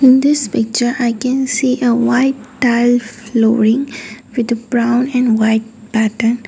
in this picture i can see a white tile flooring with a brown and white pattern.